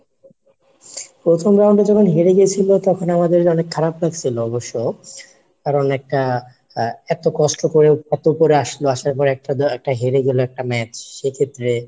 প্রথম round এ যখন হেরে গেছিল তখন আমাদের অনেক খারাপ লাগছিল অবশ্য কারণ একটা আহ এত কষ্ট করেও এত করে আসলো, আসার পর একটা হেরে গেল একটা match সেক্ষেত্রে,